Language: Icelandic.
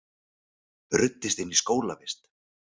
Ruddist inn í skólavist